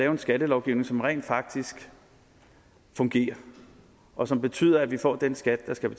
en skattelovgivning som rent faktisk fungerer og som betyder at vi får den skat vi skal